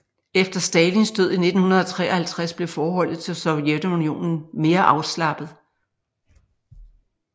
Efter Stalins død i 1953 blev forholdet til Sovjetunionen mere afslappet